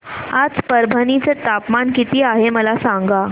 आज परभणी चे तापमान किती आहे मला सांगा